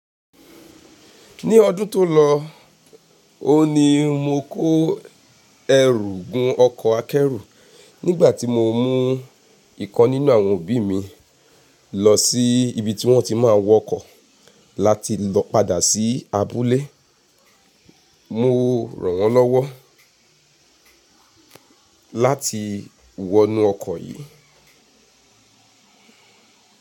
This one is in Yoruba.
Ní ọdún tó lọ, ò n ní mo kó ẹrú gun ọkọ̀ akẹ́rù nígbà tí mo mú ikan nínú àwọn òbí mi lọ sí ibi tí wọ́n ti máa ń wọ ọkọ̀ láti lọ padà sí abúlé. Mo rànwọ́ lówó láti wọnú ọkọ̀ yìí.